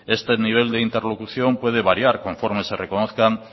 este nivel de interlocución puede variar conforme se reconozcan